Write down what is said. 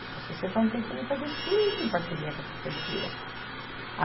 A associação tem como fazer tudo isso em parceria com a prefeitura.